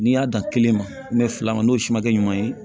N'i y'a dan kelen ma n'o fila ma n'o si ma kɛ ɲuman ye